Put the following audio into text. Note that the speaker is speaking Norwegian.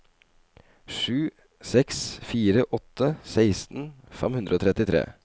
sju seks fire åtte seksten fem hundre og trettitre